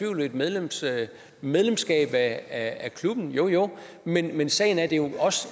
ved et medlemskab medlemskab af klubben jo jo men men sagen er at det jo også